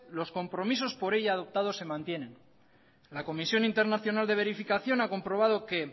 los compromisos por ella adoptados se mantienen la comisión internacional de verificación ha comprobado que